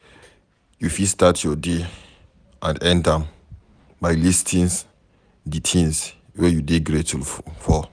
You fit start your day and end am by listing di things wey you dey grateful for